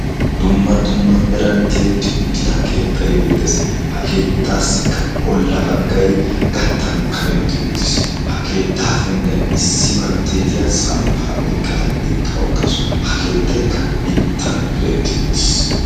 dumma dumma meran tiyetti uttida keettai beettees ha keettaassikka bolla baggai gattan kametti uttiis ha keettaa penggiyan issi baltteetiya samppaa oiqqada eqqau uttaasu ha keettaikka mittan diretti uttiis